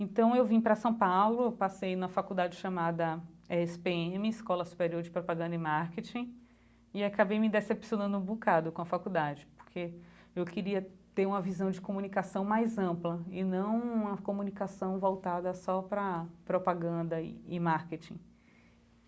Então eu vim para São Paulo, passei na faculdade chamada Esse Pê Eme, Escola Superior de Propaganda e Marketing, e acabei me decepcionando um bocado com a faculdade, porque eu queria ter uma visão de comunicação mais ampla e não uma comunicação voltada só para propaganda e marketing.